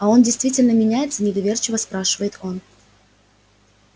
а он действительно меняется недоверчиво спрашивает он